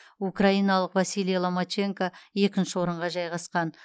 украиналық василий ломаченко екінші орынға жайғасқан